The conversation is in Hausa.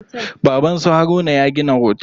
Baban su Haruna ya gina otel.